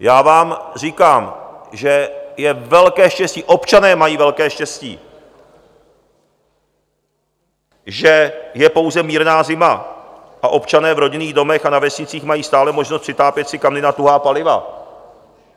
Já vám říkám, že je velké štěstí, občané mají velké štěstí, že je pouze mírná zima a občané v rodinných domech a na vesnicích mají stále možnost přitápět si kamny na tuhá paliva.